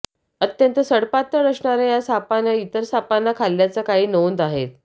अत्यंत सडपातळ असणाऱ्या या सापानं इतर सापांनां खाल्ल्याच्या काही नोंदी आहेत